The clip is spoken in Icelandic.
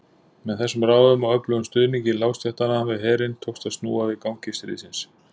Með þessum ráðum og öflugum stuðningi lágstéttanna við herinn tókst að snúa við gangi stríðsins.